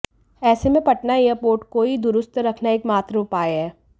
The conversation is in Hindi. ऐसे में पटना एयरपोर्ट को ही दुरुस्त रखना एकमात्र उपाय है